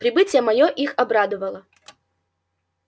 прибытие моё их обрадовало